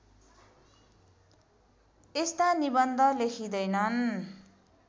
यस्ता निबन्ध लेखिँदैनन्